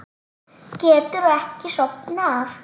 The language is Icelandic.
Geturðu ekki sofnað?